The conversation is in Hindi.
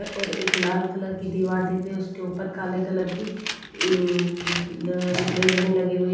अ और एक लाल कलर की दीवार दिख रही है उसके ऊपर काले कलर की ऊं ल रेलिंग लगी हुई --